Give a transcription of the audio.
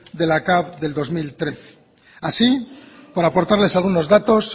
de la capv del dos mil trece así por aportarles algunos datos